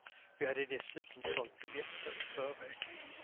Vi hade dessutom sålt biljetter i förväg.